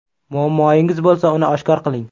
Muammoyingiz bo‘lsa uni oshkor qiling.